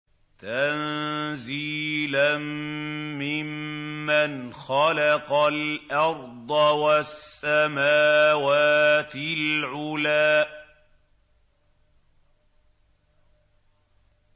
تَنزِيلًا مِّمَّنْ خَلَقَ الْأَرْضَ وَالسَّمَاوَاتِ الْعُلَى